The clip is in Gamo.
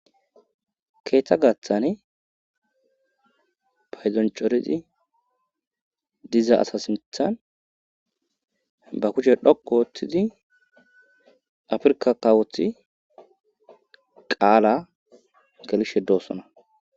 keeththa gaththani paydon cora diza asata sinthan ba kuche dhoqo oothtizi afrka kawothi qaala gelishe doossona